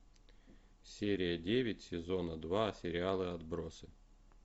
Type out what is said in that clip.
серия девять сезона два сериала отбросы